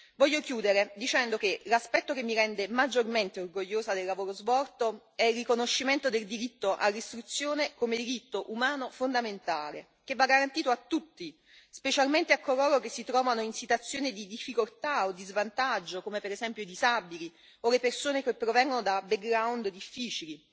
Voglio chiudere dicendo che l'aspetto che mi rende maggiormente orgogliosa del lavoro svolto è il riconoscimento del diritto all'istruzione come diritto umano fondamentale, che va garantito a tutti, specialmente a coloro che si trovano in situazioni di difficoltà o di svantaggio, come per esempio i disabili o le persone che provengono da background difficili.